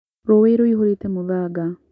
Rũĩ rũihũrĩte mũthanga